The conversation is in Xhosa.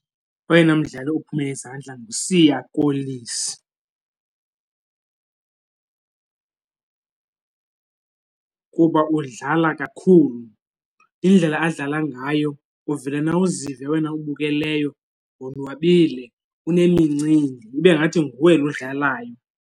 Oyena mdlali uphume izandla nguSiya Kolisi kuba udlala kakhulu. Indlela adlala ngayo uvele nawe uzive wena ubukeleyo wonwabile unemincili ibe ngathi nguwe lo udlalayo.